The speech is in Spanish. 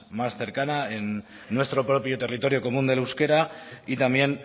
más cercana en nuestro propio territorio común del euskera y también